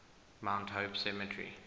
mount hope cemetery